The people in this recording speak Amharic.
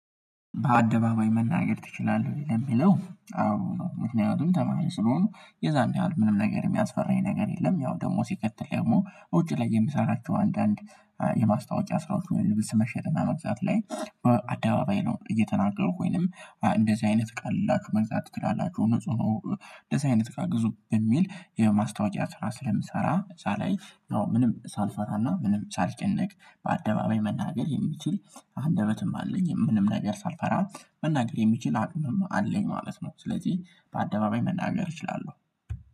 በአደባባይ መናገር ትችላለህ ወይ? ለሚለው አዎ ምክንያቱም ተማሪ ስለሆኑ የዛን ያህል ምንም ነገር የሚያስፈራኝ ነገር የለም ያው ደግሞ ሲከተል ደግሞ ውጪ ላይ የምሰራቸው አንዳንድ የማስታወቂያ ስራዎች ምንም ልብስ መሽጥ እና መግዛት ላይ በአደባባይ ነው እየተናገርኩኝ ወይም እንደዚህ አይነት ቀላል ላክ መግዛት ትችላላችሁ ንጹህ ነው እንደዚህ አይነት ጋር ግዙ የሚል የማስታወቂያ ስራ ስለምሰራ ምንም ሳልፈራና ምንም ሳልጨነቅ በአደባባይ መናገር የሚችል አንደበትም አለኝ ምንም ነገር ሳልፈራ መናገር የሚችል አቅምም አለኝ ማለት ነው ስለዚህ በአደባባይ መናገር እችላለሁ